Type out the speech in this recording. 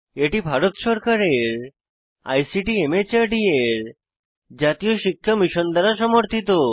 এটি ভারত সরকারের ICT MHRD এর জাতীয় শিক্ষা মিশন দ্বারা সমর্থিত